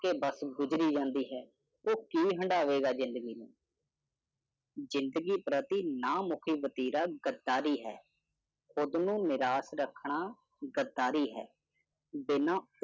ਕਿ ਬੱਸ ਗੁਜਰੀ ਜਾਂਦੀ ਹੈ, ਉਹ ਕੀ ਹੰਢਾਵੇਗਾ ਜਿੰਦਗੀ ਨੂੰ । ਜਿੰਦਗੀ ਪ੍ਰਤੀ ਨਾ ਮੁੱਖੀ ਵਤੀਰਾ ਗੱਦਾਰੀ ਹੈ। ਖੁਦ ਨੂੰ ਨਿਰਾਸ਼ ਰੱਖਣਾ ਗੱਦਾਰੀ ਹੈ। ਬਿੰਨਾ